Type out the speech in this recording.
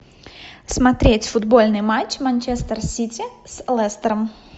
смотреть футбольный матч манчестер сити с лестером